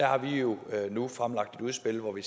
har vi jo nu fremlagt et udspil hvori